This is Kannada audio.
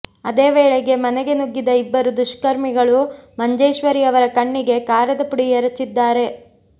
ಅದೇ ವೇಳೆಗೆ ಮನೆಗೆ ನುಗ್ಗಿದ ಇಬ್ಬರು ದುಷ್ಕರ್ಮಿಗಳು ಮಂಜೇಶ್ವರಿ ಅವರ ಕಣ್ಣಿಗೆ ಕಾರದ ಪುಡಿ ಎರಚಿದ್ದಾರೆ